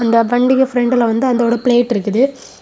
அந்த வண்டிக்கு பிரண்ட்ல வந்து அந்தோட பிளேட் இருக்குது.